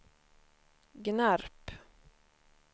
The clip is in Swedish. Gnarp